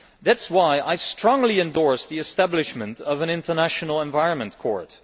that is why I strongly endorse the establishment of an international environmental court.